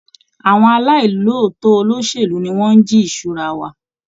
Àwọn aláì lòótọ́ olóṣèlú ni wọ́n ń jí ìṣura wa.